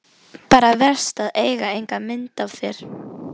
Bara verst að eiga ekki mynd af þér.